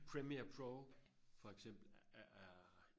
premier pro for eksempel er